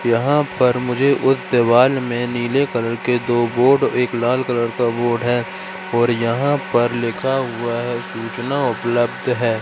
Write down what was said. यहां पर मुझे उस दीवाल में नीले कलर के दो बोर्ड एक लाल कलर का बोर्ड है और यहां पर लिखा हुआ है सूचना उपलब्ध है।